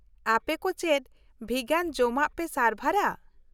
-ᱟᱯᱮ ᱠᱚ ᱪᱮᱫ ᱵᱷᱤᱜᱟᱱ ᱡᱚᱢᱟᱜ ᱯᱮ ᱥᱟᱨᱵᱷᱟᱨᱟ ?